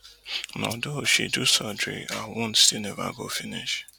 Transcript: although she do surgery her wound still neva go finish